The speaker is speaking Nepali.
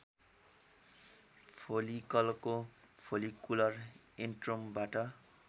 फोलिकलको फोलिकुलर एन्ट्रमबाट